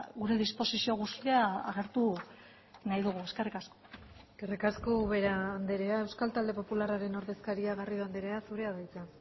gure disposizio guztia agertu nahi dugu eskerrik asko eskerrik asko ubera andrea euskal talde popularraren ordezkaria garrido andrea zurea da hitza